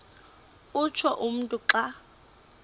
utsho umntu xa